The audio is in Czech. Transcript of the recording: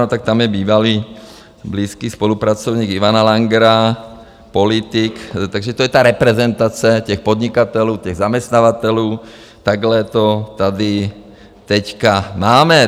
No, tak tam je bývalý blízký spolupracovník Ivana Langra, politik, takže to je ta reprezentace těch podnikatelů, těch zaměstnavatelů, takhle to tady teď máme.